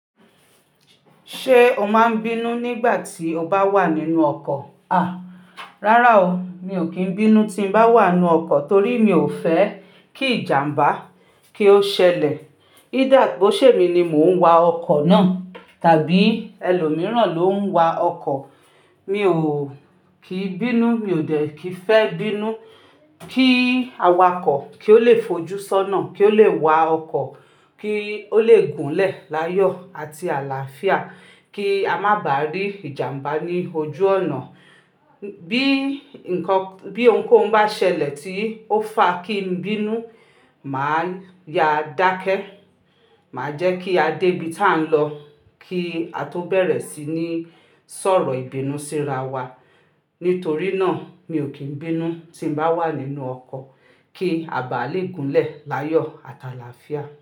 Ṣé o máa ń bínú nígbà tí o bá wà nínú ọkọ̀? Rárá o, mi ò kí ń bínú tí n bá wà nínú ọkọ̀ torí mi ò fẹ́ kí ìjàmbá kí ó ṣẹlẹ̀. Ko ṣe mi ni mò ń wa ọkọ̀ náà tàbí ẹlòmíràn ló ń wa ọkọ̀, mi ò kí bínú, mi ò dẹ̀ kí fẹ́ bínú. Kí awakọ̀ kí ó lè fojú sọ́nà, kí ó lè wa ọkọ̀, kí ó lè gúnlẹ̀ láyọ̀ àti àlàáfíà, kí a má bà rí ìjàmbá ní ojú ọ̀nà. Bí ǹkan, bí ohunkóhun bá ṣẹlẹ̀ tí ó fa kí n bínú, màá ya dákẹ́, màá jẹ́ kí a dé ibi tí à ń lọ kí a tó bẹ̀rẹ̀ sí ní sọ̀rọ̀ ìbínusíra wa. Nítorí náà, mi ò kí ń bínú tí n bá wà nínú ọkọ̀ kí a bà lè gúnlẹ̀ láyọ̀ àti àlàáfíà.